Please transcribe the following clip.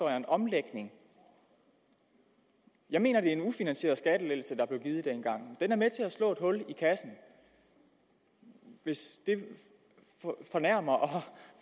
er en omlægning jeg mener det er en ufinansieret skattelettelse der blev givet dengang den er med til at slå et hul i kassen hvis det fornærmer og